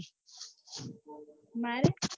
માર્યા